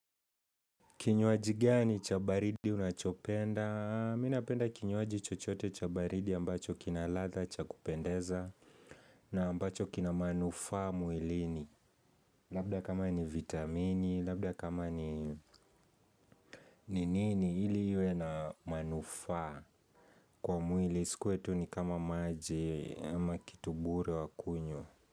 Kinywaji gani chabaridi unachopenda? Minapenda kinywaji chochote chabaridi ambacho kina latha chakupendeza na ambacho kina manufaa mwilini. Labda kama ni vitamini, labda kama ni ninini ili iwena manufaa kwa mwili. Isikuwe tu ni kama maji ama kitubure wakunywa.